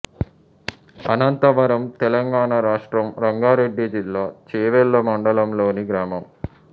అనంతవరం తెలంగాణ రాష్ట్రం రంగారెడ్డి జిల్లా చేవెళ్ళ మండలంలోని గ్రామం